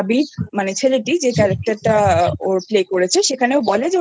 ছেলেটি যে Characterওর playকরেছে সেখানে ওরা বলে যে